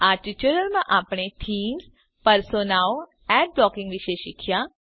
આ ટ્યુટોરીયલમાં આપણે થીમ્સ પર્સોનાઓ એડ બ્લોકીંગ વિશે શીખ્યા